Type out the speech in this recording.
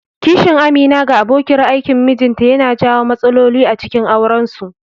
Kishin Amina ga abokiyar aikin mijinta yana janyo matsaloli acikin aurensu.